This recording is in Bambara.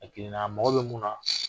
A girinna,a mako bɛ mun na